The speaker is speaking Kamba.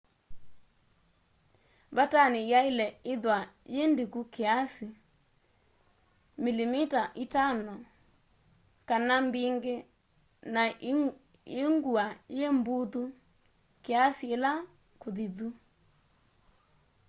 vatani yaile ithwa yi ndiku kiasi 5mm 1/5 inzi kana mbingi na i ngua yi mbuthu kiasi ila kuthithu